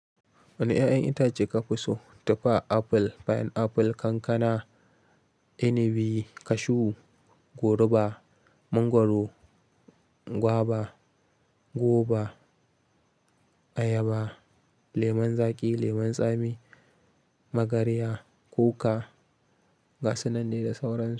Wane 'ya'yan itace ka fi so? Tufa, apple, pineapple, kankana, inibi, cashew, goruba, mangwaro, guava, goba, ayaba, lemon zaƙi, lemon tsami, magarya, kuka. Gasunan ne da sauran su.